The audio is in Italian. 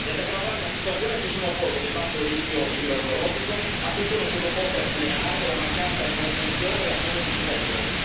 E ad aggravare la situazione ci sono poi l'elevato rischio idrogeologico a cui sono sottoposte alcune aree, la mancanza di manutenzione e la cementificazione.